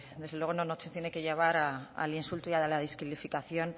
desde luego no nos tiene que llevar al insulto y a la descalificación